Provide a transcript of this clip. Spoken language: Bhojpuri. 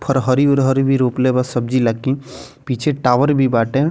हर हरी उर हर भी रोपले बा सब्जी ले की पीछे एक टावर भी बाटे।